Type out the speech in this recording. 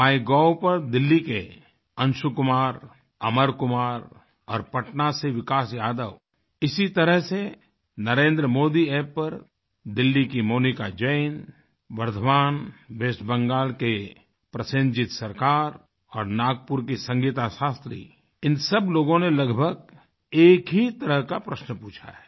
MyGov पर दिल्ली के अंशु कुमार अमर कुमार और पटना से विकास यादव इसी तरह से NarendraModiApp पर दिल्ली की मोनिका जैन बर्दवान वेस्ट बेंगल के प्रसेनजीत सरकार और नागपुर की संगीता शास्त्री इन सब लोगों ने लगभग एक ही तरह का प्रश्न पूछा है